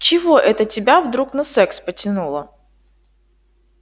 чего это тебя вдруг на секс потянуло